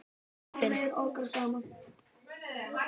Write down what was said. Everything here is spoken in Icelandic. Ég finn